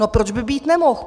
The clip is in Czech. No proč by být nemohl?